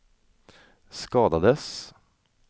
skadades